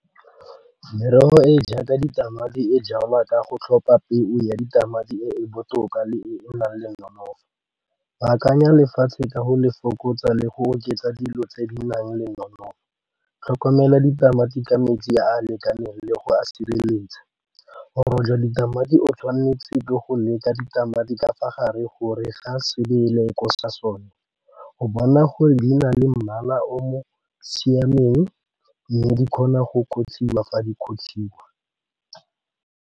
Merogo e e jaaka ditamati e jalwa ka go tlhopha peo ya ditamati e e botoka le e nang le nonofo, baakanya lefatshe ka go le fokotsa le go oketsa dilo tse di nang le nonofo, tlhokomela ditamati ka metsi a a lekaneng le go a sireletsa ditamati o tshwanetse ke go leka ditamati ka fa gare gore ga sebele ko sa sone o bona gore di na le mmala o mo siameng mme di kgona go fa di .